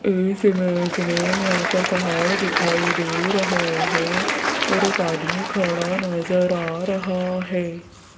इस इमेज में यहां पर पहाड़ दिखाई दे रहा है और एक आदमी खड़ा नजर आ रहा है।